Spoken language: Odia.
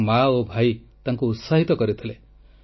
ତାଙ୍କର ମା ଓ ଭାଇ ତାଙ୍କୁ ଉତ୍ସାହିତ କରିଥିଲେ